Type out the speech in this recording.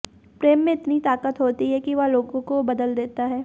प्रेम में इतनी ताकत होती है कि वह लोगों को बदल देता है